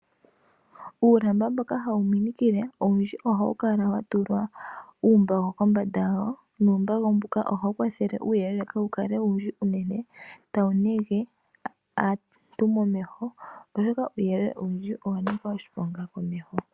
Uulamba mboka hawu minikile olundji ohawu kala wa tulwa uumbako kombanda wawo nuumbako mbuka ohawu kwathele uuyelele kawu kale owundji uunene tawu nege aantu momeho oshoka uuyelele owundji owa Nika oshiponga momeho.